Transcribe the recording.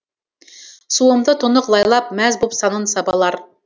суымды тұнық лайлап мәз боп санын сабалар